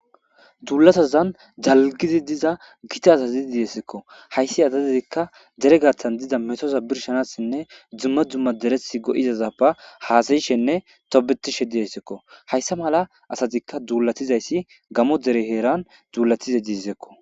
duulatazan dalggidi diza gita azazi de'eskko. hayssi adatdikka dere gathan dida metosa birshanassinne dumma dumma deresi go'izaza ba haasayishenne tobetishe diyesekko hayssa mala asatikka duulatizayssi gamo dere heeran duulatize diizaytakko.